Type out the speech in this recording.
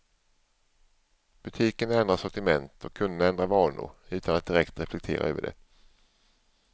Butikerna ändrar sortiment och kunderna ändrar vanor, utan att direkt reflektera över det.